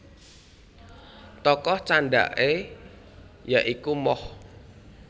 Tokoh candhake ya iku Moh